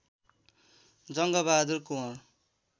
Jang Bahadur Kunwar